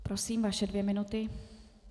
Prosím, vaše dvě minuty.